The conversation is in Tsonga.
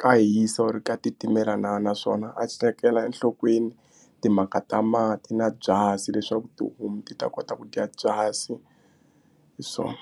ka hisa or ka titimela na naswona a tekela enhlokweni timhaka ta mati na byasi leswaku tihomu ti ta kota ku dya byasi hi swona.